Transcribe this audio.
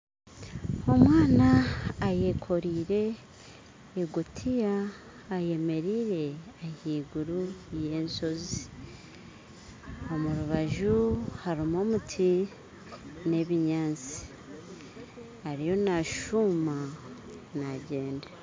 Omwana ayekoriire egutiya ayemeriire ahaiguru ya enshozi omu rubaju harumu omuti na ebinyatsi ariyo nashuuma nagyenda